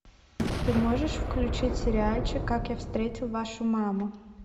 ты можешь включить сериальчик как я встретил вашу маму